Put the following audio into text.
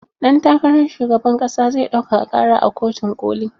Ɗan takara shugaban ƙasa zai ɗaukaka ƙara a kotun koli.